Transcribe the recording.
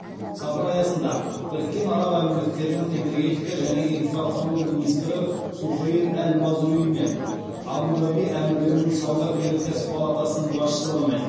сапар аясында біріккен араб әмірліктерінің энергетика және инфрақұрылым министрі сухейл әл мазруимен абу даби әмірлігінің сауда өнеркәсіп палатасының басшылығымен